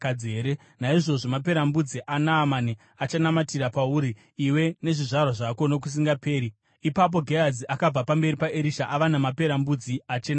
Naizvozvo maperembudzi aNaamani achanamatira pauri iwe nezvizvarwa zvako nokusingaperi.” Ipapo Gehazi akabva pamberi paErisha ava namaperembudzi, achena sechando.